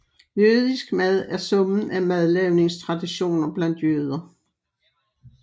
Jødisk mad er summen af madlavningstraditioner blandt jøder